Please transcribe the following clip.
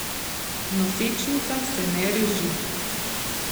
Nosečnica se ne reži.